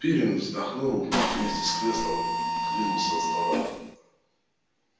пиренн вздохнул и вместе с креслом отодвинулся от стола